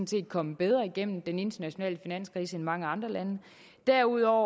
set kommet bedre igennem den internationale finanskrise end mange andre lande derudover